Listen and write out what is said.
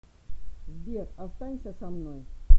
сбер останься со мной